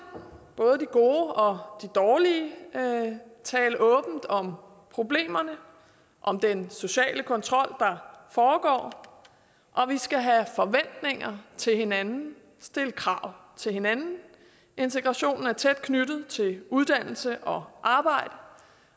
både de gode og de dårlige tale åbent om problemerne om den sociale kontrol der foregår og vi skal have forventninger til hinanden stille krav til hinanden integrationen er tæt knyttet til uddannelse og arbejde